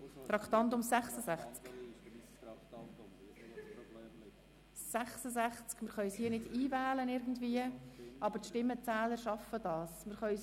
Das Traktandum erscheint nicht auf dem Bildschirm, aber die Stimmenzähler werden damit zurechtkommen.